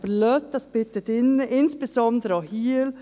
Lassen Sie dies bitte drin, insbesondere auch hier.